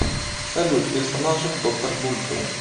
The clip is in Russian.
салют персонажи в доктор дулиттл